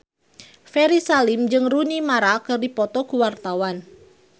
Ferry Salim jeung Rooney Mara keur dipoto ku wartawan